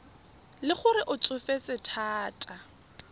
le gore o tsofetse thata